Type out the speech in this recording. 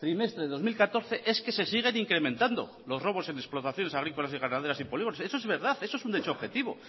trimestre de dos mil catorce es que se siguen incrementando los robos en explotaciones agrícolas y ganaderas y polígonos esto es verdad esto es un hecho objetivo